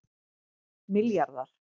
milljarðar